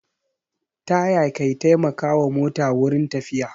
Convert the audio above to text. Taya ke taimaka wa mota wurin tafiya